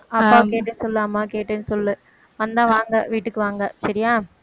அப்பாவை கேட்டேன்னு சொல்லு, அம்மாவை கேட்டேன்னு சொல்லு வந்தா வாங்க வீட்டுக்கு வாங்க சரியா